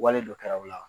Wale dɔ kɛra u la